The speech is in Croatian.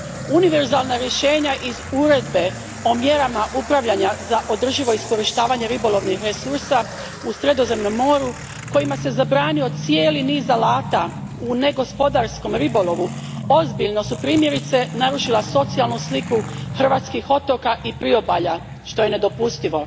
Univerzalna rješenja iz Uredbe o mjerama upravljanja za održivo iskorištavanje ribolovnih resursa u Sredozemnom moru kojima se zabranio cijeli niz alata u negospodarskom ribolovu ozbiljno su, primjerice, narušila socijalnu sliku hrvatskih otoka i priobalja, što je nedopustivo.